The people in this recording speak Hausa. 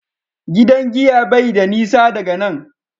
gidan giya bai da nisa daga nan